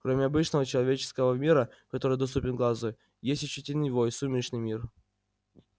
кроме обычного человеческого мира который доступен глазу есть ещё теневой сумеречный мир